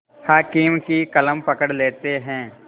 हाकिम की कलम पकड़ लेते हैं